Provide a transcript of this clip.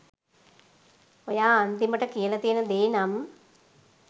ඔයා අන්තිමට කියලා තියෙන දේ නම්